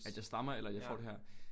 At jeg stammer eller at jeg får det her?